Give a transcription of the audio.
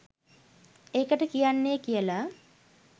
ඒකට කියන්නේ කියලා